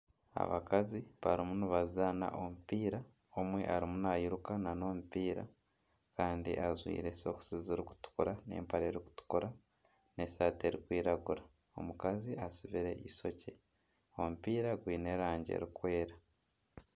Abakazi barimu nibazaana omupiira, omwe arimu nairuka nana omupiira kandi ajwaire sokisi zirikutukura n'empare erikutukura n'esaaati erikwiragura. Omukazi astsibire eishokye. Omupiira gwiine erangi erkwera.